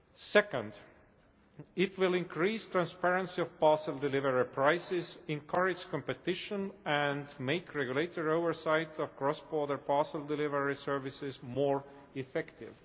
Second, it will increase transparency of parcel delivery prices, encourage competition, and make regulatory oversight of cross border parcel delivery services more effective.